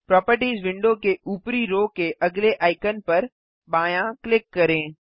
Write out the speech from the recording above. properties window के ऊपरी row के अगले आइकन पर बायाँ क्लिक करें